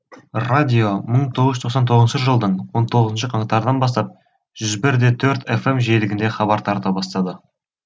радио мың тоғыз жүз тоқсан тоғызыншы жылдың он тоғызыншы қаңтарынан бастап жүз бір де төрт фм жиілігінде хабар тарата бастады